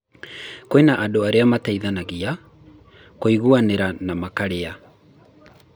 Kwĩna andũ arĩa mateithanagia, kũiguanĩra na makĩria.